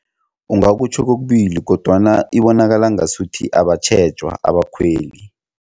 Ungakutjho kokubili kodwana ibonakala ngasuthi abatjhejwa abakhweli.